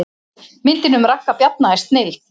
Myndin um Ragga Bjarna er snilld